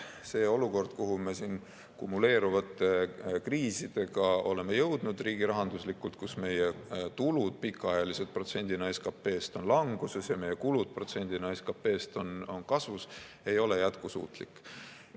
See olukord, kuhu me kumuleerunud kriisidega oleme jõudnud riigirahanduslikult, kus meie tulud protsendina SKP-st on pikka aega olnud languses ja meie kulud protsendina SKP-st on kasvamas, ei ole jätkusuutlik.